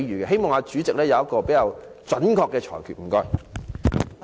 希望代理主席有比較準確的裁決。